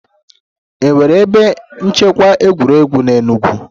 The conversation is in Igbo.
È nwere ebe nchekwa egwuregwu n'Enugwu?